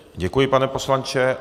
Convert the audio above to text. Děkuji, pane poslanče.